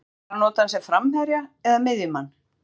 Hefurðu hugsað þér að nota hann sem framherja eða miðjumann?